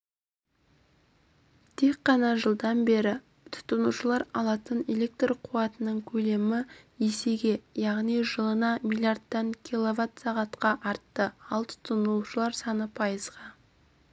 тек қана жылдан бері тұтынушылар алатын электр қуатының көлемі есеге яғни жылына миллиардтан киловатт сағатқа артты ал тұтынушылар саны пайызға